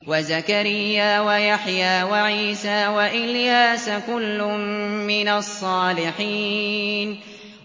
وَزَكَرِيَّا وَيَحْيَىٰ وَعِيسَىٰ وَإِلْيَاسَ ۖ كُلٌّ مِّنَ الصَّالِحِينَ